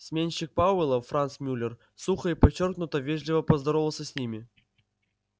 сменщик пауэлла франц мюллер сухо и подчёркнуто вежливо поздоровался с ними